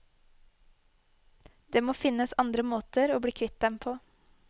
Det må finnes andre måter å bli kvitt dem på.